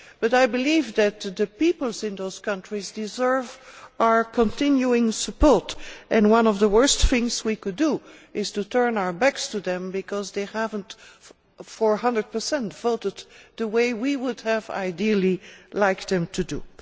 I believe that the people in those countries deserve our continuing support, and one of the worst things we could do is turn our backs on them because they have not one hundred percent voted the way we would have ideally liked them to do.